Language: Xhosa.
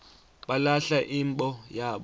balahla imbo yabo